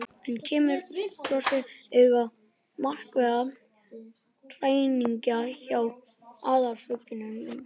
Enn kemur forseti auga á markverðar hræringar hjá æðarfuglinum.